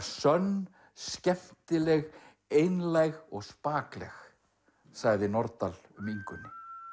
sönn skemmtileg einlæg og spakleg sagði Nordal um Ingunni